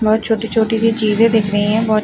बोहत छोटी छोटी सी चीजे दिख रही हैं बोहत --